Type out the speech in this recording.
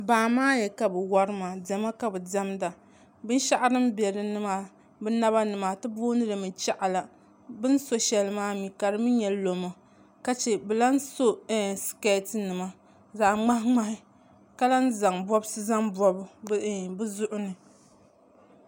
Baamaaya ka bɛ wari maa diɛma ka bɛ diɛmda binshɛɣu din be naba ni maa ti boondila chaɣila bɛ ni so shɛli maa ka di mi nyɛ lɔmo ka che bɛ lahi so sikeetinima zaɣ' ŋmahiŋmahi ka lahi zaŋ bɔbisi zaŋ bɔbi bɛ zuɣu ni